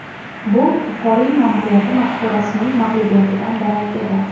Bu Buxoriy ma’muriyati mafkurasining mag‘lubiyatidan darak edi.